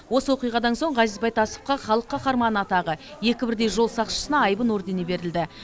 осы оқиғадан соң ғазиз байтасовқа халық қаһарманы атағы екі бірдей жол сақшысына айбын ордені берілді